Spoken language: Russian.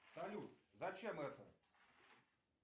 салют зачем это